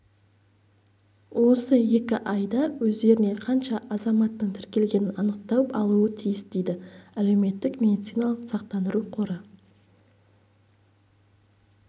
осы екі айда өздеріне қанша азаматтың тіркелгенін анықтап алуы тиіс дейді әлеуметтік медициналық сақтандыру қоры